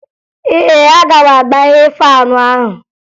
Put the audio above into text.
Ee, aga m agbaghe faanụ ahụ